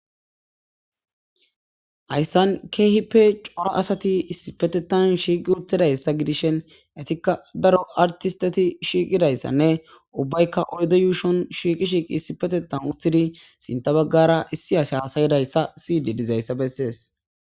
Haysan cora asati issipetethan shiqi uttidaysa gidishin etika daro artsteti shiiqidaysanne ubbayka oydde yuushon shiiqi shiqi issippetethan uttidaysanne sintha bagara issi asi hassayizaysa doyidi dizaysa besses.